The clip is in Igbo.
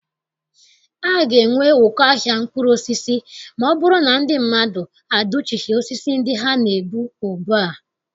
A ga-enwe ụkọ ahịa mkpụrụosisi ma ọ bụrụ na ndị mmadụ adụchighị osisi ndị ha na- egbu ugbua.